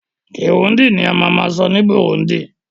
Kirundi ni a ma ma sọ ní Burundi